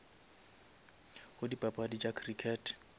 go dipapadi tša crickete